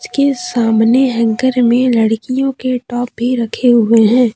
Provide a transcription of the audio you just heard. इसके सामने हैंगर में लड़कियों के टॉप भी रखे हुए हैं।